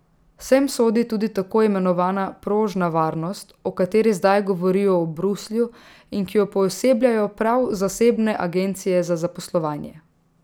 Sem sodi tudi tako imenovana prožna varnost, o kateri zdaj govorijo v Bruslju, in ki jo poosebljajo prav zasebne agencije za zaposlovanje.